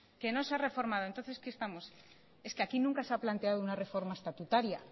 que no se ha reformado entonces qué estamos es que aquí nunca se ha planteado una reforma estatutaria